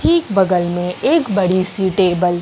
ठीक बगल में एक बड़ी सी टेबल --